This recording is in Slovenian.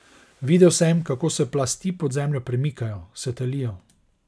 Videl sem, kako se plasti pod zemljo premikajo, se talijo.